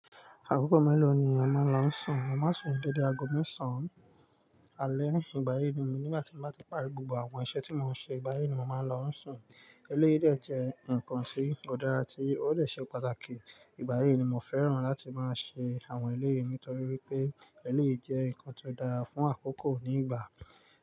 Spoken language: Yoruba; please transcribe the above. Àkókò mélòó ni ọmọ ló ń sùn? Mọ máa ń sùn dédé aago mẹ́sàn alẹ́. Ìgbà yí ni mi, nígbà tí mo bá ti parí gbogbo àwọn iṣẹ́ tí mò ń ṣe, ìgbà yí ni màá lọ sùn. Eléyìí dẹ jẹ́ nǹkan tí ó dára, tí ó dẹ ṣe pàtàkì. Ìgbà yí ni mo fẹ́ràn láti máa ṣe àwọn eléyìí nítorí wipé eléyìí jẹ́ nǹkan tó dára fún àkókò nígbà.